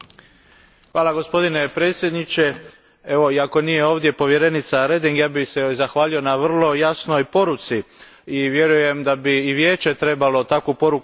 Gospodine predsjedniče, iako nije ovdje povjerenica Reding, ja bih joj se zahvalio na vrlo jasnoj poruci i vjerujem da bi i Vijeće trebalo takvu poruku poslati.